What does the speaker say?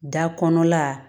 Da kɔnɔna